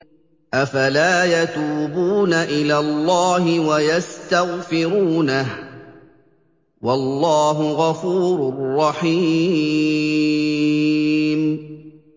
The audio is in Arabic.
أَفَلَا يَتُوبُونَ إِلَى اللَّهِ وَيَسْتَغْفِرُونَهُ ۚ وَاللَّهُ غَفُورٌ رَّحِيمٌ